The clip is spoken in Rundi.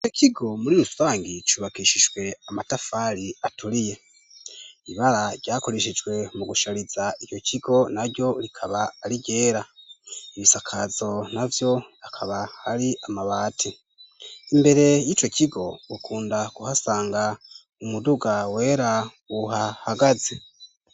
Ico kigo muri rusangi cubakishijwe amatafari aturiye. Ibara ryakoreshejwe mu gushariza ico kigo na ryo rikaba ar'iryera. Ibisakazo navyo akab'ari amabati. Imbere y'ico kigo ,ukunda kuhasanga umuduga wera uhahagaze.